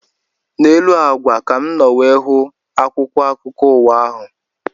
N'elu ákwà ka mụ nọ wee hụ akwụkwọ akụkọ ụwa ahụ